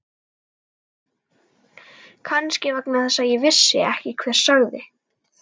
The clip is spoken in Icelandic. Kannski vegna þess að ég vissi ekki hver sagði.